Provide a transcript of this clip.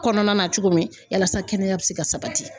Kɔnɔna na cogo min yalasa kɛnɛya be se ka sabati